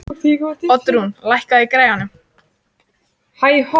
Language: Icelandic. Oddrún, lækkaðu í græjunum.